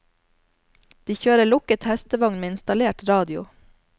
De kjører lukket hestevogn med installert radio.